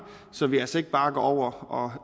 så vi altså ikke bare går over og